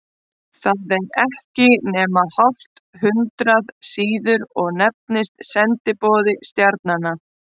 Það er ekki nema hálft hundrað síður og nefnist Sendiboði stjarnanna.